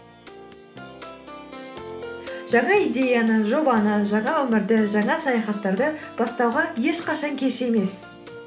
жаңа идеяны жобаны жаңа өмірді жаңа саяхаттарды бастауға ешқашан кеш емес